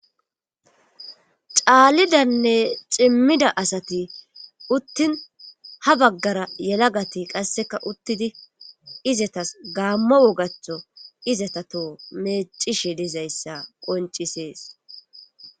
caalidanne cimmida asati uttin ha baggara yelagati qasseka uttidi izatas gaammo wogachtho izatato meecishe dizayssa qoncisees